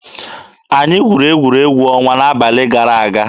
Anyị gwuru egwuregwu ọnwa n'abalị gara aga.